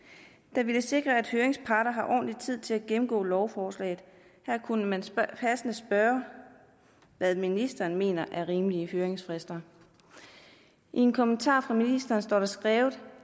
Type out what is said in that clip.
der vil sikre at høringsparter har ordentlig tid til at gennemgå lovforslag her kunne man passende spørge hvad ministeren mener er rimelige høringsfrister i en kommentar fra ministeren står der skrevet